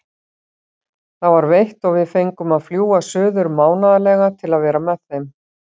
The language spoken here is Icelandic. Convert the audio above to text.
Það var veitt og við fengum að fljúga suður mánaðarlega til að vera með þeim.